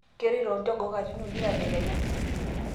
keworito olnjogoo katin uni tadekenya